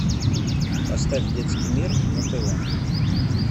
поставь детский мир на тв